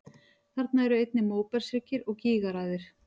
Þarna eru einnig móbergshryggir og gígaraðir.